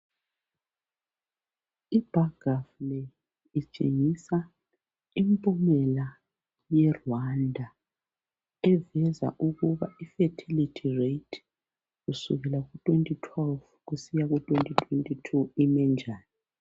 Idiagram leyi itshengisa impumela ye Rwanda eveza ukuba ifertility rate kusukela ku2012 kusiya ku2022 imenjani